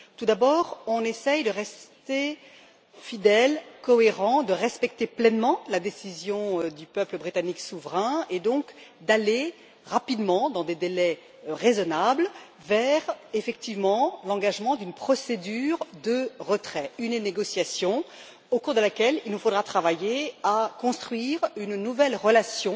Tout d'abord, on essaye de rester fidèle, cohérent, de respecter pleinement la décision du peuple britannique souverain, et donc d'aller rapidement, dans des délais raisonnables, vers, effectivement, l'engagement d'une procédure de retrait, une négociation au cours de laquelle il nous faudra travailler à construire une nouvelle relation